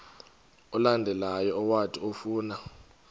olandelayo owathi ufuna